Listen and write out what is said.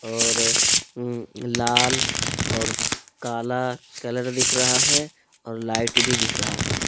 और लाल और काला कलर दिख रहा है और लाइट भी दिख रहा है।